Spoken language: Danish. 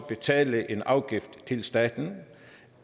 betale en afgift til staten